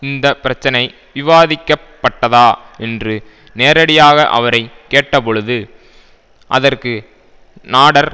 இந்த பிரச்சனை விவாதிக்கப்பட்டதா என்று நேரடியாக அவரை கேட்டபொழுது அதற்கு நாடர்